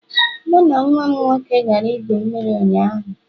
Mụ na nwa m nwoke gara igwu mmiri ụnyaahụ